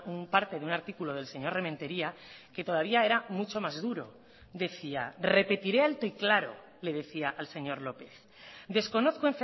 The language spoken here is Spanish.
un parte de un artículo del señor rementeria que todavía era mucho más duro decía repetiré alto y claro le decía al señor lópez desconozco